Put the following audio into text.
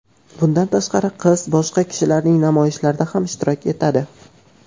Bundan tashqari, qiz boshqa kishilarning namoyishlarida ham ishtirok etadi.